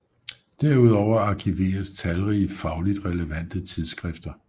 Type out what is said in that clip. Derudover arkiveres talrige fagligt relevante tidsskrifter